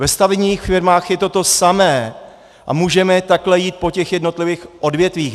Ve stavebních firmách je to to samé a můžeme takhle jít po těch jednotlivých odvětvích.